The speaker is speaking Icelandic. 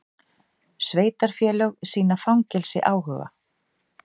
Sveitarfélög sýna fangelsi áhuga